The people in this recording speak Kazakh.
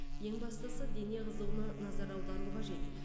ең бастысы дене қызуына назар аудару қажет